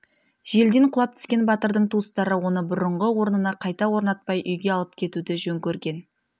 желден құлап түскен батырдың туыстары оны бұрыңғы орнына қайта орнатпай үйге алып кетуді жөн көрген